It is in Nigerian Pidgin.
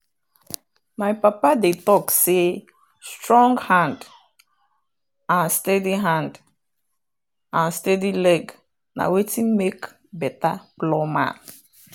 my papa dey talk say strong hand and steady hand and steady leg na wetin make better plowman.